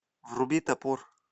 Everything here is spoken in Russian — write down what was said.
вруби топор